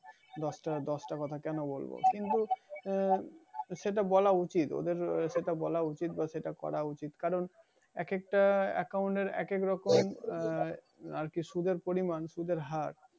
দশটা দশটা কথা কেন বলবো? কিন্তু আহ সেটা বলা উচিত ওদের সেটা করা উচিত ও বলা উচিত কারণ, এক একটা account এর এক এক রকম আহ আর কি সুদের পরিমাণ সুদের হার।